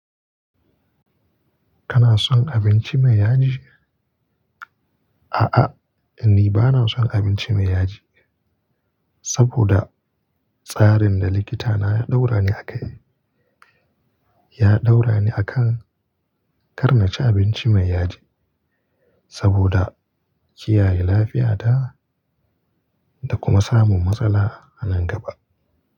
Kana son abinci mai yaji? A'a, ni bana son abinci mai yaji saboda tsarin da likita na ya ɗaura ni a kai. Ya ɗaura ni a kan kar na ci abinci mai yaji saboda kiyaye lafiya ta da kuma samun matsala a nan gaba.